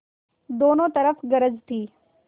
दोनों तरफ गरज थी